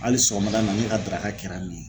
Hali sɔgɔmada in na ne ka daraka kɛra nin ye.